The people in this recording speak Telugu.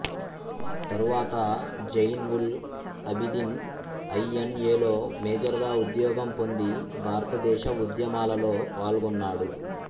తరువాత జైన్ఉల్అబిదీన్ ఐ ఎన్ ఏ లో మేజర్ గా ఉద్యోగం పొంది భారతదేశ ఉద్యమాలలో పాల్గొన్నాడు